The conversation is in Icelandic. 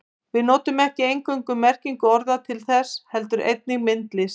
Við notum ekki eingöngu merkingu orða til þess heldur einnig myndlist.